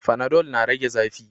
Fanadol na rage zafi